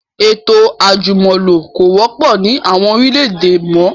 Ètò àjùmọ̀lo kò wọ́pọ̀ ni àwọn orílẹ̀ èdè mọ